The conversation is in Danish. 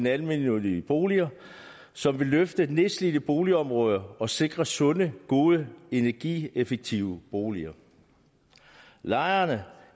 almennyttige boliger som vil løfte nedslidte boligområder og sikre sunde gode energieffektive boliger lejerne